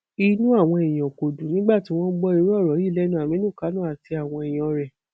inú àwọn èèyàn kò dùn nígbà tí wọn gbọ irú ọrọ yìí lẹnu àmínú kánò àti àwọn èèyàn rẹ